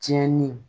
Tiɲɛni